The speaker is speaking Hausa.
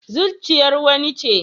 Zuciyar wani ce